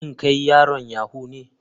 Shin kai yaron yahoo ne.